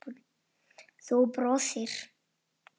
Þú brosir.